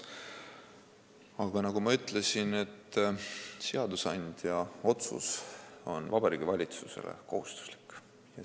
Aga nagu ma ütlesin, seadusandja otsus on Vabariigi Valitsusele kohustuslik.